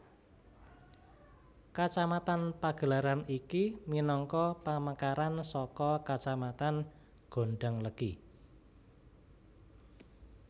Kacamatan Pagelaran iki minangka pamekaran saka Kacamatan Gondanglegi